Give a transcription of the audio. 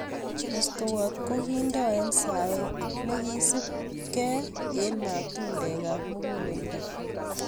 Mestowot kokindoi eng saet nekisub ke eng matundek ab muguleldo